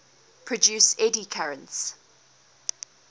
produce eddy currents